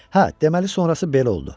Hə, deməli sonrası belə oldu: